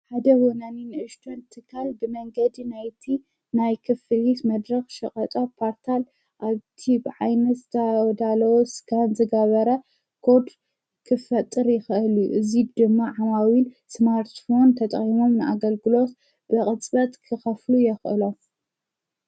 ሓደ ወናኒ ንእሽዶን ትካል ብመንገዲ ናይቲ ናይ ክፍሪስ መድረኽ ሸቐጣ ጳርታል ኣቲብ ዓይነስ ዳዳሎስካን ዘጋበረ ቆድ ክፍጥር ይኸእል እዙይ ድማ ሓማዊኢል ስማርትፎን ተጠሒሞም ።ንኣገልግሎስ ብቕጽበት ክኸፍሉ የኽእሎፍ